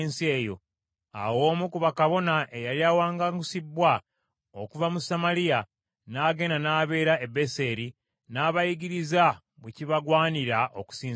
Awo omu ku bakabona eyali awaŋŋangusibbwa okuva mu Samaliya n’agenda n’abeera e Beseri, n’abayigiriza bwe kibagwanira okusinza Mukama .